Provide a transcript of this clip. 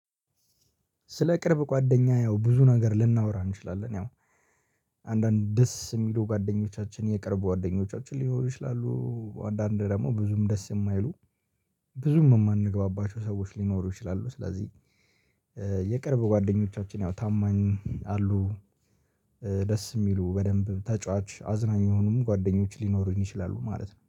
ስለ ቅርብ ጓደኛ ያው ብዙ ነገር ልናወራ እንችላለን። ያው አንዳንድ ደስ የሚለው ጓደኞቻችን የቀረብ ጓደኞቻችን ሊኖሩ ይችላሉ አንዳንዴ ደግሞ ብዙም ደስ የማይሉ ብዙም የማንገባባቸው ሰዎች ሊኖሩ ይችላሉ። ስለዚህ የቅርብ ጓደኞቻችን ያው ታማኝ አሉ ደስ የሚሉ በደንብ ተጫዋች አዝናኝ የሆኑም ጓደኞች ሊኖሩኝ ይችላሉ ማለት ነው።